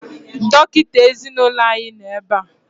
Dọkịta ezinaụlọ anyị nọ ebea